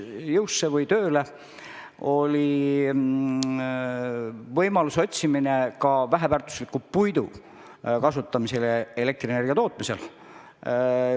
Me otsisime võimalust kasutada väheväärtuslikku puitu elektrienergia tootmiseks.